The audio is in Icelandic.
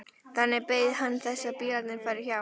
Þannig beið hann þess að bílarnir færu hjá.